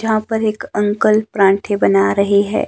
यहां पर एक अंकल पराठे बना रहे हैं।